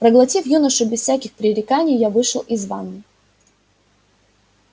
проглотив юношу без всяких пререканий я вышел из ванной